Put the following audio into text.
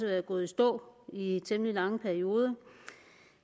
været gået i stå i temmelig lange perioder